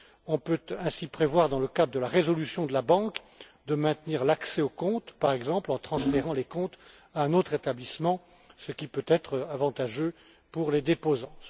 On peut ainsi prévoir, dans le cadre de la résolution de la banque, de maintenir l'accès aux comptes, par exemple en transférant les comptes à un autre établissement, ce qui peut être avantageux pour les déposants.